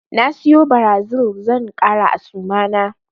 Na siyo Brazil zan ƙara a suma na.